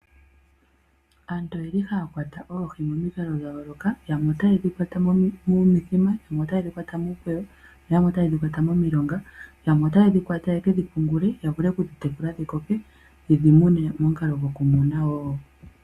Aantu oye li haya kwata oohi momikalo dha yooloka yamwe otaye dhi kwata monithima, yamwe otaye dhi kwata muukweyo, yamwe otaye dhi kwata momilonga, yamwe otaye dhikwata ye kedhi pungule ya vule okudhitekula dhi koke yedhi mune momukalo gwokumuna wo.